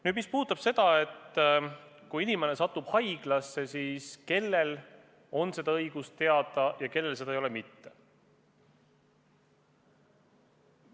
Nüüd, mis puudutab seda, et kui inimene satub haiglasse, siis kellel on õigus seda teada ja kellel mitte.